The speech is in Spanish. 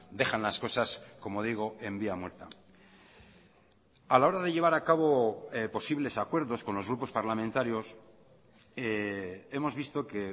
dejan las cosas como digo en vía muerta a la hora de llevar a cabo posibles acuerdos con los grupos parlamentarios hemos visto que